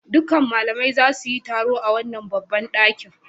Dukkan malamai za su yi taro a wannan babban ɗaki.